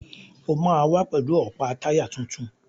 O máa wá pẹ̀lú ọ̀pá táyà tuntun.